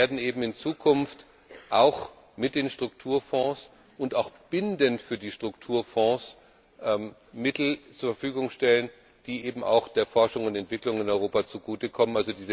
Wir werden eben in Zukunft auch mit den Strukturfonds und auch bindend für die Strukturfonds Mittel zur Verfügung stellen, die der Forschung und Entwicklung in Europa zugutekommen.